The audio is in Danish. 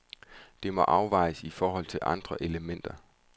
Det må afvejes i forhold til andre elementer.